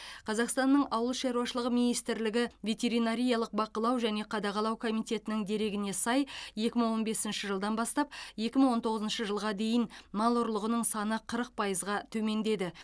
қазақстанның ауыл шаруашылығы министрлігі ветеринариялық бақылау және қадағалау комитетінің дерегіне сай екі мың он бесінші жылдан бастап екі мың он тоғызыншы жылға дейін мал ұрлығының саны қырық пайызға төмендеді